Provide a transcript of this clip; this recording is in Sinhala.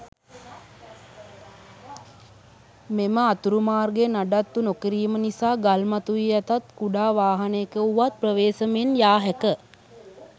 මෙම අතුරු මාර්ගය නඩත්තු නොකිරීම නිසා ගල් මතුවී ඇතත් කුඩා වාහනයක වුවත් ප්‍රවේසමෙන් යා හැක.